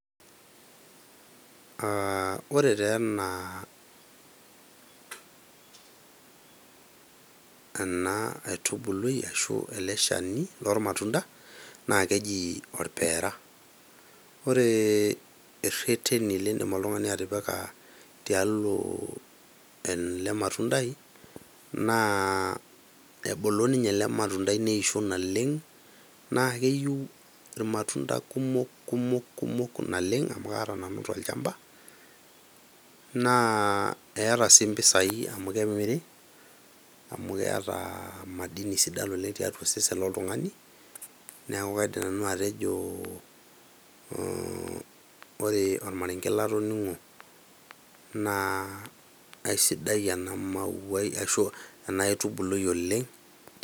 Aa ore taa ena ena aitubului ashu ele shani lormatunda naa keji orpeera. Ore ireteni lindim oltungani atipika tialo ele matundai naa ebulu ninye ele matundai neisho naleng ,naa keiu irmatunda kumok, kumok, kumok, naleng amu kaata nanu tolchamba. Naa eeta sii mpisai amu kemiri ,amu keeta madini sidan oleng tiatua osesen loltungani, niaku kaidim nanu atejo ore ormarenke latoningo naa aisidai ena mauai ashuaa ena aitubului oleng.